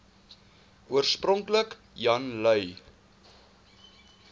oorspronklik jan lui